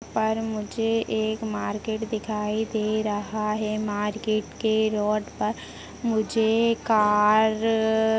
और मुझे एक मार्केट दिखाई दे रहा है मार्केट के रोड पर मुझे कार र र अ --